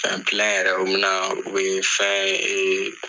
yɛrɛ, u bɛ na ,u bɛ fɛn ee